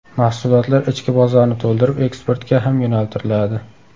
Mahsulotlar ichki bozorni to‘ldirib, eksportga ham yo‘naltiriladi.